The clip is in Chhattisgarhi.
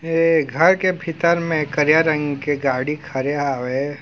ऐ घर के भीतर में करिया रंग के गाड़ी खड़े हावय ।